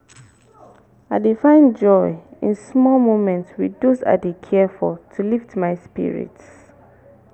i dey find joy in small moments with those i dey care for to lift my spirits.